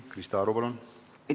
Krista Aru, palun!